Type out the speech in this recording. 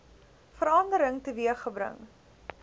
verandering teweeg gebring